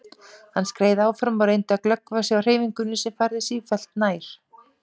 Hann skreið áfram og reyndi að glöggva sig á hreyfingunni sem færðist sífellt nær.